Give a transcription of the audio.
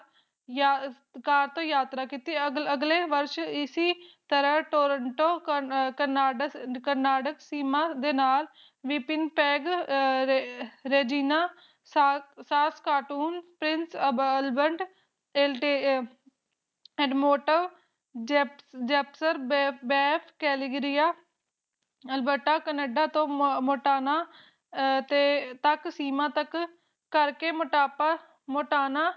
Intel ਐਲਮੋਨੱਟ ਜਸ ਜੈਪੁਰ ਬੈਰ ਕੈਲਾਗਾਰੀਆਂ ਅਲਬਰਟਾ ਕੈਨੇਡਾ ਤੋਂ ਮੋੰਟਾਨਾ ਠਾਕ ਠਾਕ ਸੀਮਾ ਤਕ ਕਰ ਕ ਮੋੰਟਾਨਾ